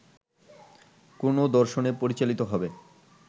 কোনো দর্শনে পরিচালিত হবে